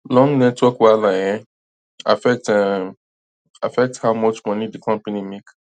long network wahala um affect um affect how much money di company make